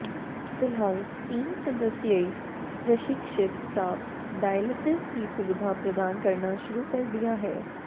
फिलहाल तीन सदस्यीय प्रशिक्षित स्टाफ डायलिसिस की सुविधा प्रदान करना शुरू कर दिया है